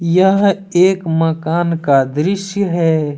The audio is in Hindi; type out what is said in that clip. यह एक मकान का दृश्य है।